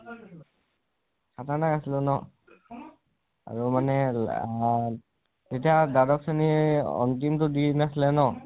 খাতাৰনাখ আছিলো ন, আৰু মানে লা আমাৰ, তেতিয়া মানে দ্বাদশ শ্ৰণীৰ আন্তিম তো দিন আছিল ন